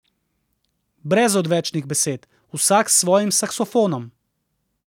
Brez odvečnih besed, vsak s svojim saksofonom.